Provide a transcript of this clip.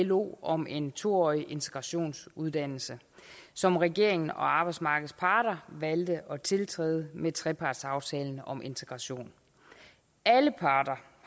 lo om en to årig integrationsuddannelse som regeringen og arbejdsmarkedets parter valgte at tiltræde med trepartsaftalen om integration alle parter